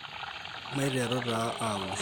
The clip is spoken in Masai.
maiteru taa aunisho